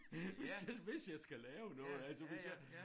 Hvis jeg hvis jeg skal lave noget altså hvis jeg